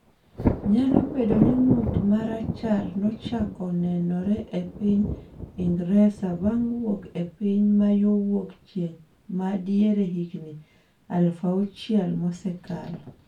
Nyalo bedo ni ng’ut ma rachar nochako nenore e piny Ingresa bang’ wuok e piny ma yo wuok chieng’ ma diere higni 6000 mosekalo.